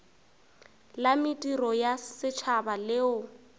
la mediro ya setšhaba leo